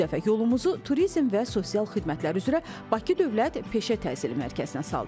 Bu dəfə yolumuzu turizm və sosial xidmətlər üzrə Bakı Dövlət Peşə Təhsili mərkəzinə saldıq.